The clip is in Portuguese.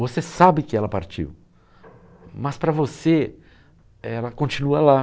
Você sabe que ela partiu, mas para você ela continua lá.